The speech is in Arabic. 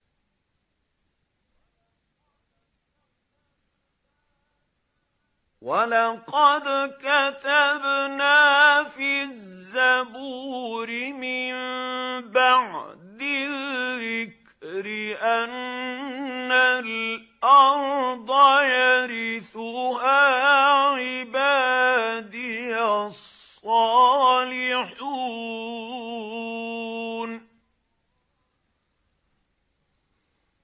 وَلَقَدْ كَتَبْنَا فِي الزَّبُورِ مِن بَعْدِ الذِّكْرِ أَنَّ الْأَرْضَ يَرِثُهَا عِبَادِيَ الصَّالِحُونَ